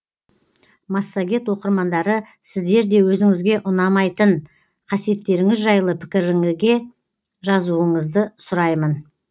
массагет оқырмандары сіздер де өзіңізге ұнамайтын қасиеттеріңіз жайлы пікіріңізге жазуыңызды сұраймын